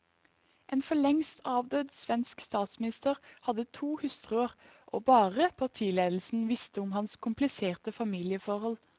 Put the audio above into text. En forlengst avdød svensk statsminister hadde to hustruer, og bare partiledelsen visste om hans kompliserte familieforhold.